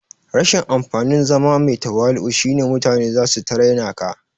Rashin amfanin zama mai tawali'u shine mutane zasu ta raina ka